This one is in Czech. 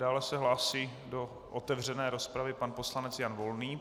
Dále se hlásí do otevřené rozpravy pan poslanec Jan Volný.